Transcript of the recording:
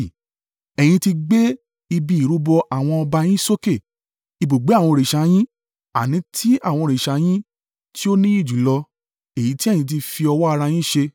Ẹ̀yin ti gbé ibi ìrúbọ àwọn ọba yín sókè, ibùgbé àwọn òrìṣà yín, àní, ti àwọn òrìṣà yín tí ó níyì jùlọ, èyí tí ẹ̀yin fi ọwọ́ ara yín ṣe.